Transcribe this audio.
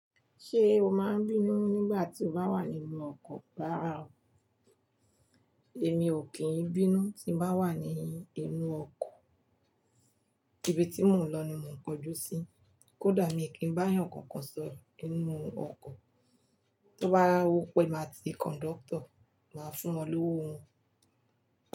Ṣé o máa n bínú nígbà tí o bá wà nínú ọkọ̀, rárá ò. Èmi ò kí n bínú tí n bá wà nínú inú ọkọ̀, ibi tí mò ń lọ ni mò ń kojú sí. Kódà mi kí n bá àyàn kankan sọ̀rọ̀ nínú ọkọ̀, tó bá wọ́pẹ́, máa ti konduktọ̀ máa fún wọn lówó wọn.